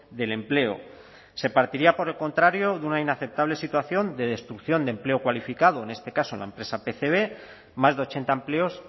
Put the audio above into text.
del empleo se partiría por el contrario de una inaceptable situación de destrucción de empleo cualificado en este caso en la empresa pcb más de ochenta empleos